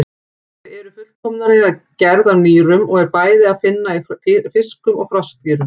Þau eru fullkomnari gerð af nýrum og er að finna í bæði fiskum og froskdýrum.